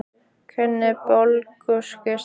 Kunniði Búlgörsku strákar?